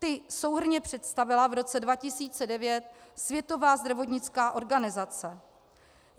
Ty souhrnně představila v roce 2009 Světová zdravotnická organizace.